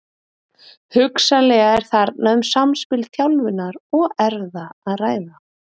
Hugsanlega er þarna um samspil þjálfunar og erfða að ræða.